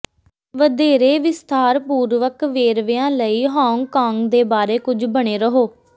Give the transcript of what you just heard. ਵਧੇਰੇ ਵਿਸਥਾਰਪੂਰਵਕ ਵੇਰਵਿਆਂ ਲਈ ਹਾਂਗਕਾਂਗ ਦੇ ਬਾਰੇ ਵਿੱਚ ਬਣੇ ਰਹੋ